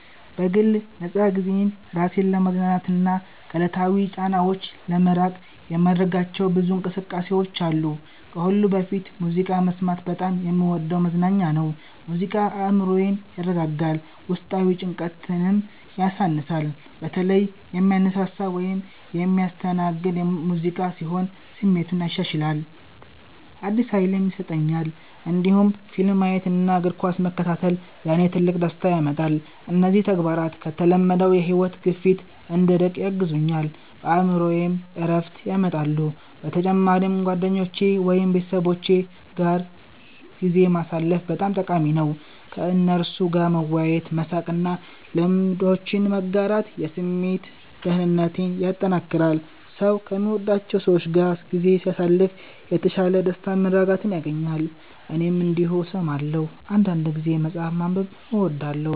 በግል ነፃ ጊዜዬ ራሴን ለማዝናናትና ከዕለታዊ ጫናዎች ለመራቅ የማደርጋቸው ብዙ እንቅስቃሴዎች አሉ። ከሁሉ በፊት ሙዚቃ መስማት በጣም የምወደው መዝናኛ ነው። ሙዚቃ አእምሮዬን ያረጋጋል፣ ውስጣዊ ጭንቀትንም ያሳንሳል። በተለይ የሚያነሳሳ ወይም የሚያስተናግድ ሙዚቃ ሲሆን ስሜቴን ያሻሽላል፣ አዲስ ኃይልም ይሰጠኛል። እንዲሁም ፊልም ማየት እና እግር ኳስ መከታተል ለእኔ ትልቅ ደስታ ያመጣሉ። እነዚህ ተግባራት ከተለመደው የሕይወት ግፊት እንድርቅ ያግዙኛል፣ በአእምሮዬም ዕረፍት ያመጣሉ። በተጨማሪም ጓደኞቼ ወይም ቤተሰቦቼ ጋር ጊዜ ማሳለፍ በጣም ጠቃሚ ነው። ከእነርሱ ጋር መወያየት፣ መሳቅ እና ልምዶችን መጋራት የስሜት ደህንነቴን ያጠናክራል። ሰው ከሚወዳቸው ሰዎች ጋር ጊዜ ሲያሳልፍ የተሻለ ደስታና መረጋጋት ያገኛል። እኔም እንዲሁ እሰማለሁ። አንዳንድ ጊዜ መጽሐፍ ማንበብ እወዳለሁ